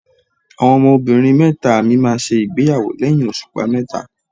Àwọn ọmọbìnrin mẹ́ta mi máa ṣègbéyàwó lẹ́yìn òṣùpá mẹ́ta.